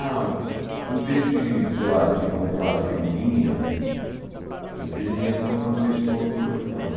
Ah, em vez de, sei lá, de comprar figurinha, eu pedia dinheiro para comprar o disco novo do Black Sabbath.